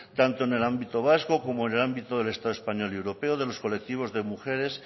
tanto en el ámbito vasco como en el ámbito del estado español y europeo de los colectivos de mujeres